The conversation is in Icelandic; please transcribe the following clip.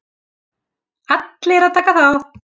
Allir að taka þátt!!!!!!